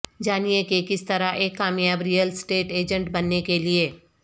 جانیں کہ کس طرح ایک کامیاب ریئل اسٹیٹ ایجنٹ بننے کے لئے